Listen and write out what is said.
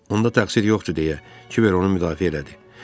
Onda təqsir yoxdur deyə Kiver onu müdafiə elədi.